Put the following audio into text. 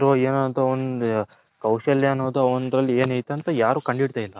ಏನೋ ಅಂತ ಒಂದೋ ಕೌಶಲ್ಯ ಅನ್ನೋದು ಅವನ್ದ್ರಲ್ಲಿ ಎನ್ ಅಯ್ತೆ ಅಂತ ಯಾರು ಕಂಡೆ ಇದ್ದಿಲ್ಲ.